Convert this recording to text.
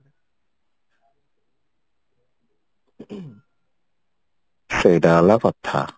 ସେଇଟା ହେଲା କଥା